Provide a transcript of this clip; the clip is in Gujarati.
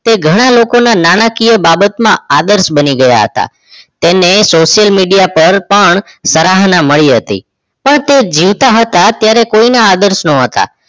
તે ઘણાં લોકો ના નાણાંકીય બાબત માં આદર્શ બની ગયા હતા તેને social media પર પણ સરના મળી હતી પણ તે જીવતા હતા ત્યારે કોઈના આદર્શ ન હતા